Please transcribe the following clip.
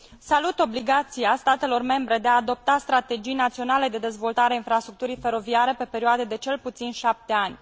Salut obligația statelor membre de a adopta strategii naționale de dezvoltare a infrastructurii feroviare pe perioade de cel puțin șapte ani.